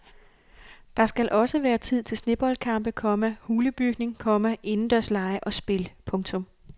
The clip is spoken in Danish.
Der skal også være tid til sneboldkampe, komma hulebygning, komma indendørslege og spil. punktum